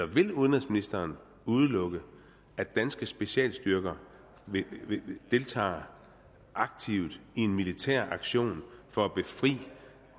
vil udenrigsministeren udelukke at danske specialstyrker vil kunne deltage aktivt i en militær aktion for at befri